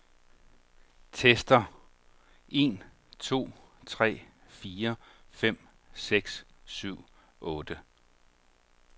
Tester en to tre fire fem seks syv otte.